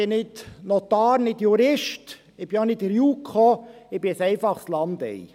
Ich bin nicht Notar, nicht Jurist, ich bin auch nicht in der JuKo, ich bin ein einfaches Landei.